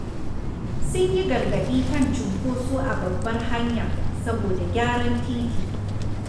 Sun yi gargaɗi kan cunkoso a babbar hanya saboda gyaran titi.